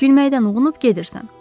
Gülməkdən uğunub gedirsən.